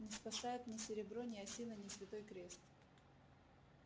не спасает ни серебро ни осина ни святой крест